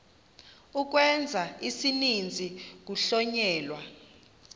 ukwenza isininzi kuhlonyelwa